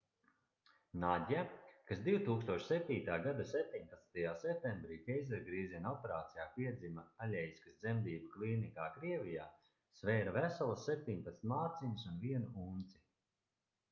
nadja kas 2007. gada 17. septembrī ķeizargrieziena operācijā piedzima aļeiskas dzemdību klīnikā krievijā svēra veselas 17 mārciņas un 1 unci